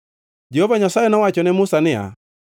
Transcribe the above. Jehova Nyasaye nowacho ne Musa niya,